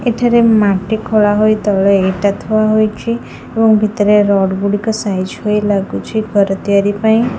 ଏଠାରେ ମାଟି ଖୋଳା ହୋଇ ତଳେ ଇଟା ଥୁଆ ହୋଇଛି ଏବଂ ଭିତରେ ରଡ଼୍ ଗୁଡ଼ିକ ସାଇଜ ହୋଇ ଲାଗୁଛି ଘର ତିଆରି ପାଇଁ।